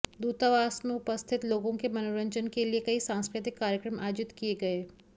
दूतावास में उपस्थित लोगों के मनोरंजन के लिए कई सांस्कृतिक कार्यक्रम आयोजित किए गए